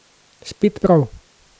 Spet prav.